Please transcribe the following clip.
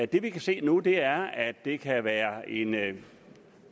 det vi kan se nu er at det kan være en